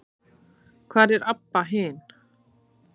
Hvar er Abba hin?